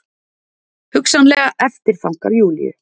Hugsanlega eftirþankar Júlíu.